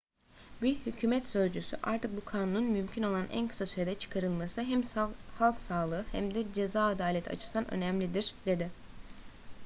bir hükümet sözcüsü artık bu kanunun mümkün olan en kısa sürede çıkarılması hem halk sağlığı hem de ceza adaleti açısından önemlidir dedi